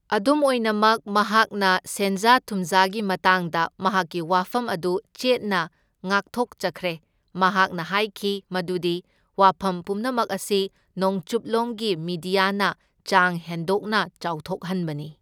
ꯑꯗꯨꯝ ꯑꯣꯏꯅꯃꯛ, ꯃꯍꯥꯛꯅ ꯁꯦꯟꯖꯥ ꯊꯨꯝꯖꯥꯒꯤ ꯃꯇꯥꯡꯗ ꯃꯍꯥꯛꯀꯤ ꯋꯥꯐꯝ ꯑꯗꯨ ꯆꯦꯠꯅ ꯉꯥꯛꯊꯣꯛꯆꯈ꯭ꯔꯦ, ꯃꯍꯥꯛꯅ ꯍꯥꯢꯈꯤ ꯃꯗꯨꯗꯤ ꯋꯥꯐꯝ ꯄꯨꯝꯅꯃꯛ ꯑꯁꯤ ꯅꯣꯡꯆꯨꯞꯂꯣꯝꯒꯤ ꯃꯤꯗꯤꯌꯥꯅ ꯆꯥꯡ ꯍꯦꯟꯗꯣꯛꯅ ꯆꯥꯥꯎꯊꯣꯛꯍꯟꯕꯅꯤ꯫